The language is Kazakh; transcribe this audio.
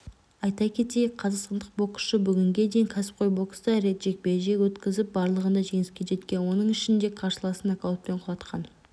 айта кетейік қазақстандық боксшы бүгінге дейін кәсіпқой бокста рет жекпе-жек өткізіп барлығында жеңіске жеткен оның ішінде қарсыласын нокаутпен құлатқан